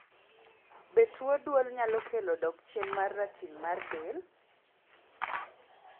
be tuo duol nyalo kelo dok chien mar ratil mar del?